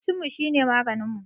Abincinmu shine maganinmu